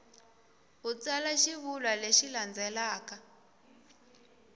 u tsala xivulwa lexi landzelaka